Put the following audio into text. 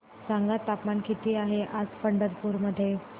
सांगा तापमान किती आहे आज पंढरपूर मध्ये